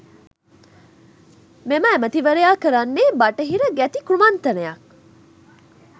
මෙම ඇමතිවරයා කරන්නේ බටහිර ගැති කුමන්ත්‍රණයක්.